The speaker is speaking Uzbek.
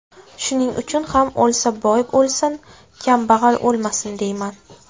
Shuning uchun ham o‘lsa boy o‘lsin, kambag‘al o‘lmasin deyman.